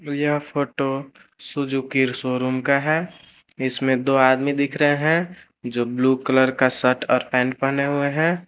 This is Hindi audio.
यह फोटो सुजुकी शोरूम का है इसमें दो आदमी दिख रहे हैं जो ब्लू कलर का शर्ट और पेंट पहने हुए हैं।